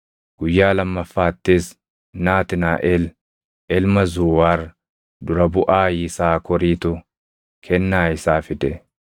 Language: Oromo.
Guyyaa lammaffaattis Naatnaaʼel ilma Zuuwaar dura buʼaa Yisaakoritu kennaa isaa fide.